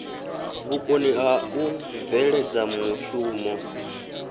vhukoni ha u bveledza mushumo